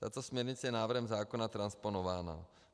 Tato směrnice je návrhem zákona transponována.